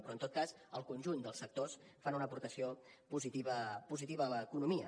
però en tot cas el conjunt dels sectors fan una aportació positiva a l’economia